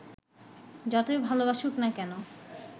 যতই ভালবাসুক না কেন